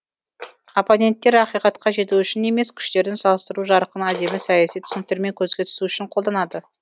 оппоненттер ақиқатқа жету үшін емес күштерін салыстыру жарқын әдемі саяси түсініктермен көзге түсу үшін қолданады